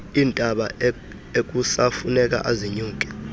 iintaba ekusafuneka azinyuke